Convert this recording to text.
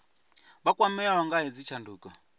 vha kwameaho nga hedzi tshanduko